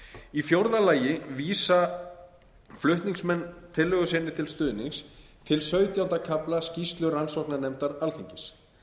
í fjórða lagi vísa flutningsmenn tillögu sinni til stuðnings til sautjánda kafla skýrslu rannsóknarnefndar alþingis